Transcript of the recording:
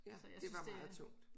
Ja det var meget tungt